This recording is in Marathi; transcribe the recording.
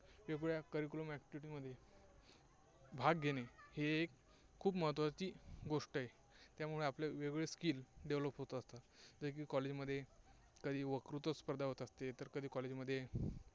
वेगवेगळ्या curriculum activity मध्ये भाग घेणे, हे एक खूप महत्त्वाची गोष्ट आहे. त्यामुळे आपले वेगवेगळे skills develop होतात. वेगवेगळे College मध्ये कधी वक्तृत्व स्पर्धा होत असते, तर कधी college मध्ये